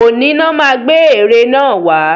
Òní lọ má gbé ère náà wà.